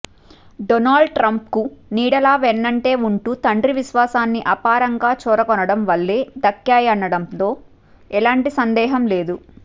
Donald ట్రంప్కు నీడలా వెన్నంటే ఉంటూ తండ్రి విశ్వాసాన్ని అపారంగా చూరగొనటం వల్లే దక్కాయనటంలో ఎలాంటి సందేహం లేదు